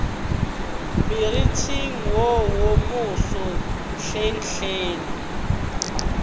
moriting wo wo moso hlenghleng